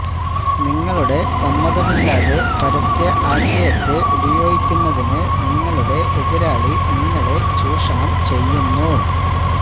നിങ്ങളുടെ സമ്മതമില്ലാതെ പരസ്യ ആശയത്തെ ഉപയോഗിക്കുന്നതിന് നിങ്ങളുടെ എതിരാളി നിങ്ങളെ ചൂഷണം ചെയ്യുന്നു